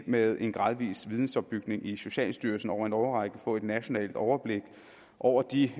med en gradvis vidensopbygning i socialstyrelsen over en årrække få et nationalt overblik over de